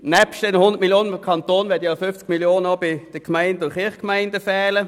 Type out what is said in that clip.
Nebst diesen 100 Mio. Franken im Kanton werden auch 50 Mio. Franken bei den Gemeinden und Kirchgemeinden fehlen.